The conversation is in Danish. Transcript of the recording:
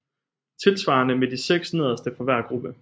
Tilsvarende med de 6 nederste fra hver gruppe